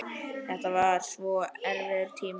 Þetta var svo erfiður tími.